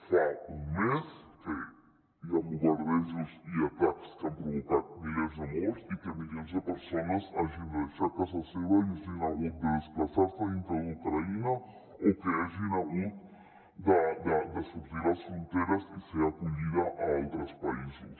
fa un mes que hi han bombardejos i atacs que han provocat milers de morts i que milions de persones hagin de deixar casa seva i hagin hagut de desplaçar·se dintre d’ucraïna o que hagin hagut de sortir de les fronteres i ser acollides a altres països